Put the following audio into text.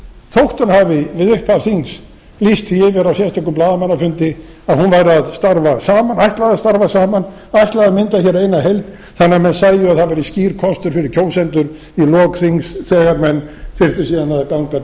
hún hafi við upphaf þings lýst því yfir á sérstökum blaðamannafundi að hún ætlaði að starfa saman ætlaði að mynda hér eina heild þannig að menn sæju að það væri skýr kostur fyrir kjósendur við lok þings þegar menn þyrftu síðan að ganga